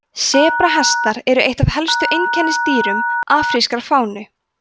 sebrahestar eru eitt af helstu einkennisdýrum afrískrar fánu